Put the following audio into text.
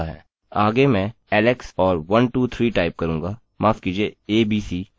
आगे मैं alex और 123 टाइप करूँगा माफ कीजिए abc और login पर क्लिक करूँगा